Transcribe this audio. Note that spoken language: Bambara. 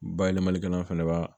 Bayɛlɛmalikɛla fana b'a